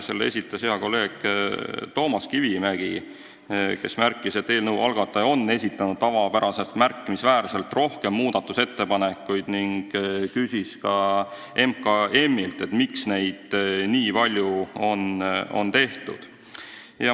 Selle esitas hea kolleeg Toomas Kivimägi, kes märkis, et eelnõu algataja on esitanud tavapärasest märkimisväärselt rohkem muudatusettepanekuid, ning küsis ka MKM-ilt, miks neid nii palju on tehtud.